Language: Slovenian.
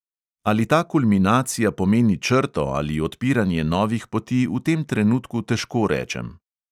Ali ta kulminacija pomeni črto ali odpiranje novih poti, v tem trenutku težko rečem.